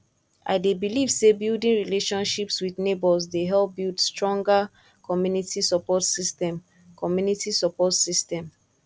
i dey believe say building relationships with neighbors dey help build stronger community support system community support system